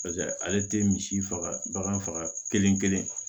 paseke ale te misi faga bagan faga kelen kelen